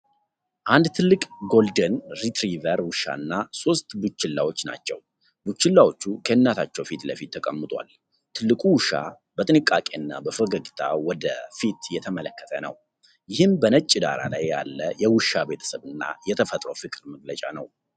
አንድ ትልቅ ጎልደን ሪትሪቨር ውሻ እና ሦስት ቡችላዎቹን ናቸው። ቡችላዎቹ ከእናታቸው ፊት ለፊት ተቀምጠዋል። ትልቁ ውሻ በጥንቃቄና በፈገግታ ወደ ፊት እየተመለከተ ነው። ይህም በነጭ ዳራ ላይ ያለ የውሻ ቤተሰብ እና የተፈጥሮ ፍቅር መገለጫ ነው።